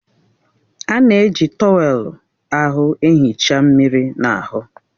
A na-eji trọwèlu ahụ ehicha mmiri n'ahụ